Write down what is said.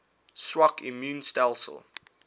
swak immuun stelsels